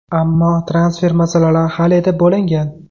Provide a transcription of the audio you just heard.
Ammo transfer masalalari hal etib bo‘lingan.